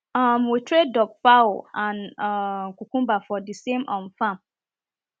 um we train duck fowl and kokumba for the same um farm